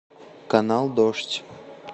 канал дождь